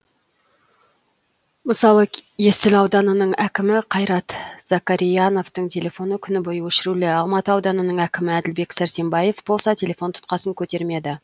мысалы есіл ауданының әкімі қайрат закарияновтың телефоны күні бойы өшірулі алматы ауданының әкімі әділбек сәрсембаев болса телефон тұтқасын көтермеді